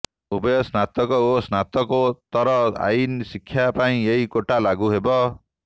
ଉଭୟ ସ୍ନାତକ ଓ ସ୍ନାତକୋତର ଆଇନ ଶିକ୍ଷା ପାଇଁ ଏହି କୋଟା ଲାଗୁ ହେବ